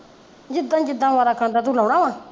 ਜਿਦਾਂ ਜਿਦਾਂ ਬਾਰਾ ਖਾਂਦਾ ਵਾ ਤੂੰ ਲਾਉਣਾ ਵਾ